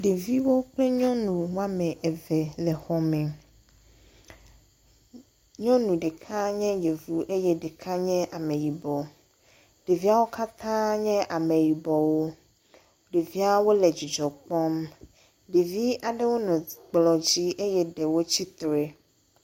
Ɖeviwo ƒe nyɔnu wo ame eve le xɔ me. Nyɔnu ɖeka nye yevu eye ɖeka nye ame yibɔ. Ɖeviawo katã nye ame yibɔwo. Ɖeviawo le dzidzɔ kpɔm. Ɖevi aɖewo nɔ kplɔ̃ dzi eye ɖewo tsitre.